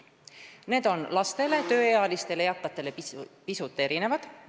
Need soodustingimused on lastele, tööealistele ja eakatele pisut erinevad.